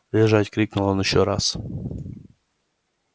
лежать крикнул он ещё раз